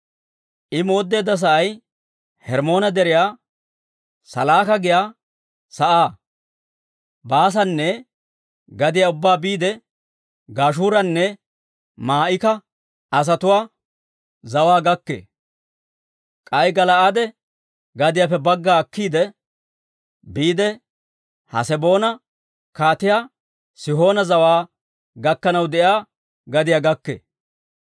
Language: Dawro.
I mooddeedda sa'ay Hermmoone Deriyaa, Salaaka giyaa sa'aa, Baasaane gadiyaa ubbaa biide Gashuuranne Maa'ika asatuwaa zawaa gakkee; k'ay Gala'aade gadiyaappe bagga akkiide, biide Haseboona Kaatiyaa Sihoona zawaa gakkanaw de'iyaa gadiyaa gakkee.